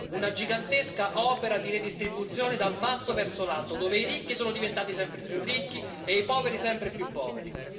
una gigantesca opera di redistribuzione dal basso verso l'alto, dove i ricchi sono diventati sempre più ricchi e i poveri sempre più poveri.